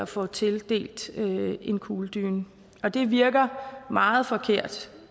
får tildelt en kugledyne og det virker meget forkert